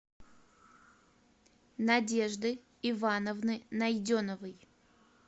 надежды ивановны найденовой